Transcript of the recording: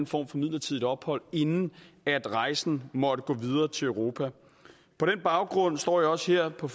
form for midlertidigt ophold inden rejsen måtte gå videre til europa på den baggrund står jeg også her på